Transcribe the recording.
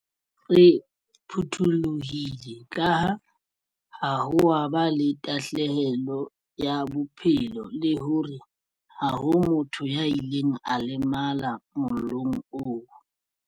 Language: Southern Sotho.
Re phuthulohile kaha ha ho a ba le tahlelo ya bophelo le hore ha ho motho ya ileng a lemala mollong oo.